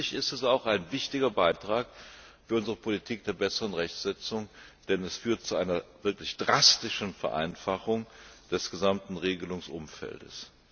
Schließlich ist sie auch ein wichtiger Beitrag zu unserer Politik der besseren Rechtssetzung, denn sie führt zu einer wirklich drastischen Vereinfachung des gesamten Regelungsumfeldes.